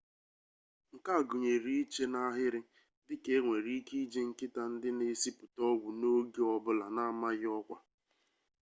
nke a gụnyere iche n'ahịrị dị ka enwere ike iji nkịta ndị na-esipụta ọgwụ n'oge ọ bụla na-amaghị ọkwa